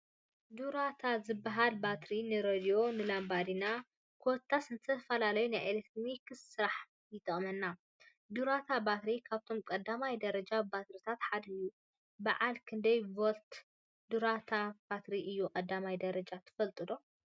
ዱራታ ዝበሃል ባትሪ ንሬድዮ፣ ንላምባዲና ኮታስ ንዝተፈላለዩ ናይ ኤሌክትሪክ ስራሕቲ ይጠቅመና፡፡ ዱራታ ባትሪ ካብቶም ቀዳማይ ደረጃ ባትሪታት ሓደ እዩ፡፡ በዓል ክንደይ ቮልት ዱራታ ባትሪ እዩ ቀዳማይ ደረጃ ትፈልጡ ዶ?